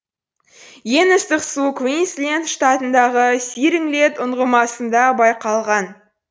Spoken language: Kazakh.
ең ыстық су квинсленд штатындағы сиринглейт ұңғымасында байқалған